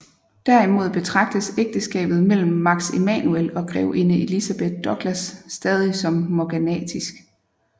Derimod betragtes ægteskabet mellem Max Emanuel og grevinde Elizabeth Douglas stadigt som morganatisk